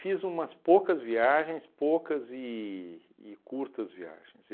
Fiz umas poucas viagens, poucas e e curtas viagens.